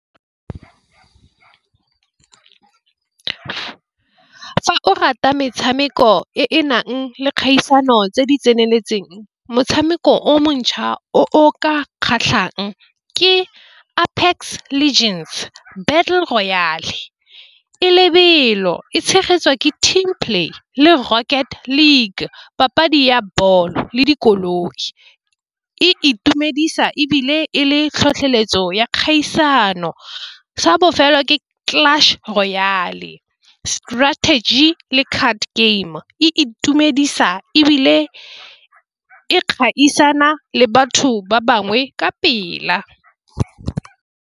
Fa o rata metshameko e e nang le kgaisano tse di tseneletseng. Motshameko o montšhwa o ka kgatlhang ke Apex Legends battle royale e lebelo e tshegetsiwa ke team play le rocket league papadi ya ball le dikoloi, e itumedisa ebile e le tlhotlheletso ya kgaisano sa bofelo ke clutch royale strategy le card game e itumedisa ebile e gaisana le batho ba bangwe ka pela.